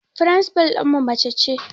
Firinsifal ɗinmu mace ce